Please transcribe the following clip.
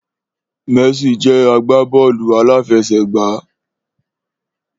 Messi jẹ́ agbábọ́ọ̀lù aláfẹsẹ̀gbá